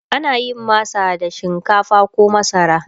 ana yin masa da shinkafa koh masara